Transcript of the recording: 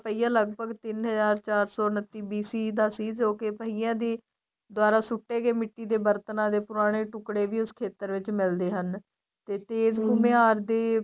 ਪਹੀਆ ਲੱਗਭਗ ਤਿੰਨ ਹਜ਼ਾਰ ਚਾਰ ਸੋ ਉਨੱਤੀ BC ਦਾ ਸੀ ਜੋਕੇ ਪਹਿਆਂ ਦੀ ਦੁਆਰਾ ਸੁੱਟੇ ਗਏ ਮਿੱਟੀ ਦੇ ਬਰਤਨਾਂ ਦੇ ਪੁਰਾਣੇ ਟੁੱਕੜੇ ਵੀ ਉਸ ਖ਼ੇਤਰ ਵਿੱਚ ਮਿਲਦੇ ਹਨ ਤੇ ਤੇਜ ਘੁੰਮਿਆਰ